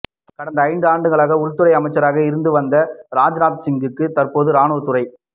கடந்த ஐந்தாண்டுகளாக உள்துறை அமைச்சராக இருந்து வந்த ராஜ்நாத்சிங்கிற்கு தற்போது ராணுவத்துறை